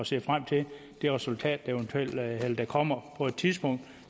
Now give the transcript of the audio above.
ser frem til det resultat der kommer på et tidspunkt